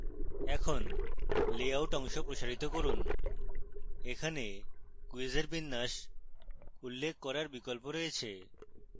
এখন layout অংশ প্রসারিত করুন এখানে কুইজের বিন্যাস উল্লেখ করার বিকল্প রয়েছে